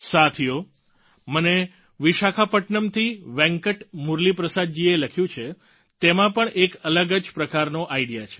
સાથીઓ મને વિશાખાપટ્ટ્નમથી વેંકટ મુરલીપ્રસાદજીએ જે લખ્યું છે તેમાં પણ એક અલગ જ પ્રકારનો આઈડિયા છે